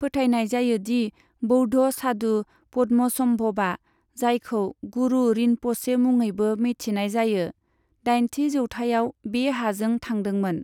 फोथायनाय जायो दि बौद्ध सादु पद्मसम्भबा, जायखौ गुरु रिनपछे मुङैबो मिथिनाय जायो, दाइनथि जौथाइआव बे हाजों थांदोंमोन।